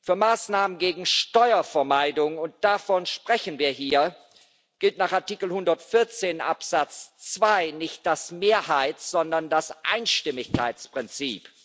Für Maßnahmen gegen Steuervermeidung und davon sprechen wir hier gilt nach Artikel 114 Absatz 2 nicht das Mehrheits sondern das Einstimmigkeitsprinzip.